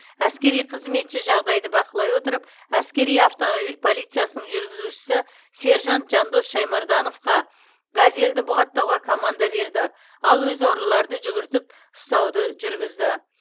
әскери қызметші жағдайды бақылай отырып әскери автомобиль полициясының жүргізушісі сержант жандос шаймардановқа газелді бұғаттауға команда берді ал өзі ұрыларды жүгіртіп ұстауды жүргізді